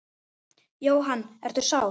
Jóhann: Ertu sár?